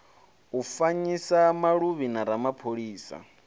u fanyisa maluvhi a ramaphosa